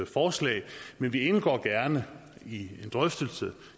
forslag men vi indgår gerne i en drøftelse